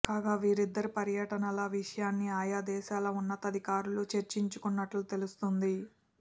కాగా వీరిద్దరి పర్యటనల విషయాన్ని ఆయా దేశాల ఉన్నతాధికారులు చర్చించుకున్నట్లు తెలుస్తోంది